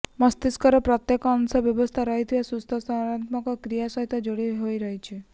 ମସ୍ତିଷ୍କର ପ୍ରତ୍ୟେକ ଅଂଶ ବ୍ୟବସ୍ଥିତ ରହିବା ସୁସ୍ଥ ସଂଜ୍ଞାନାତ୍ମକ କ୍ରିୟା ସହିତ ଯୋଡ଼ି ହୋଇ ରହିଛି